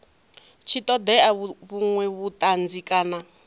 tshi ṱoḓea vhuṅwe vhuṱanzi kana